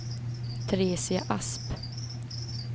Teresia Asp